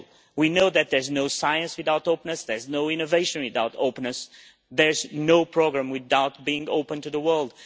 We know that there is no science without openness, there is no innovation without openness, there is no programme without being open to the